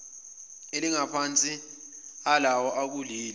elingaphansi kwalawo akuleli